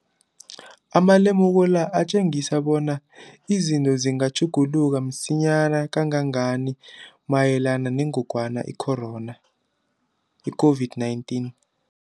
Amalemuko la atjengisa bonyana izinto zingatjhuguluka msinyana kangangani mayelana nengogwana i-COVID-19.